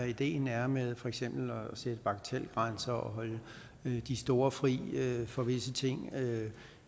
ideen er med for eksempel at sætte bagatelgrænser og holde de store fri for visse ting